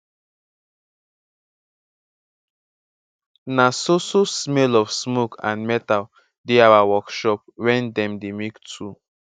na so so smell of smoke and metal dey our workshop wen dem dey make tool